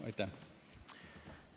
Aitäh!